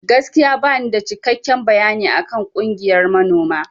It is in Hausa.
Gaskiya banida cikekken bayani akan ƙungiyan manoma.